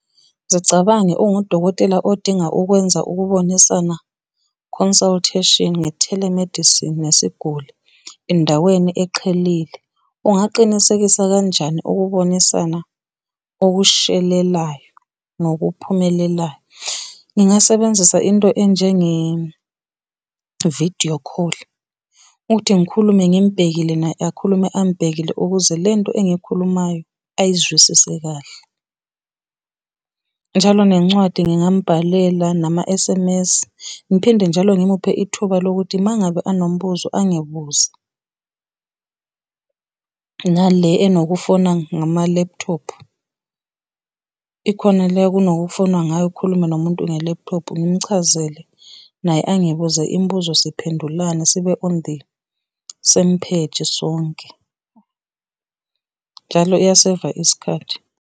Zicabange ungudokotela odinga ukwenza ukubonisana, consultation, nge-telemedicine nesiguli endaweni eqhelile. Ungaqinisekisa kanjani ukubonisana okushelelayo nokuphumelelayo. Ngingasebenzisa into enjenge-video call, ukuthi ngikhulume ngimubhekile naye akhulume angibhekile ukuze lento engiyikhulumayo ayizwisise kahle. Njalo nencwadi ngingambhalela, nama-S_M_S ngiphinde njalo ngimuphe ithuba lokuthi uma ngabe enombuzo angibuze, nale enokufona ngamalephuthophu. Ikhona le kunokufonwa ngayo ukhulume nomuntu ngelephthophu ngimuchazele, naye angibuze imibuzo siphendulane sibe on the same page sonke. Njalo iya-saver isikhathi.